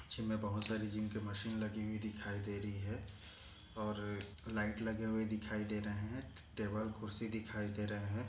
Gym मे बहोत सारे जिम की मशीन लगी हुयी दिखाई दे रही है और लाइट लगे हुए दिखाई दे रहे है टेबल खुर्ची दिखाई दे रहे है।